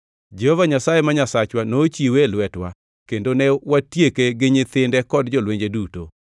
Jehova Nyasaye ma Nyasachwa nochiwe e lwetwa kendo ne watieke gi nyithinde kod jolwenje duto.